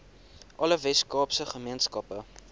alle weskaapse gemeenskappe